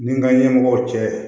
Ni n ka ɲɛmɔgɔw cɛ